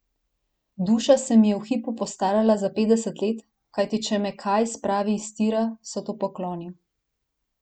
Duša se mi je v hipu postarala za petdeset let, kajti če me kaj spravi iz tira, so to pokoli.